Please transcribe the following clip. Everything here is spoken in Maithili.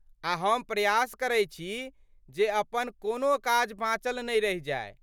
आ हम प्रयास करै छी जे अपन कोनो काज बाँचल नहि रहि जाय।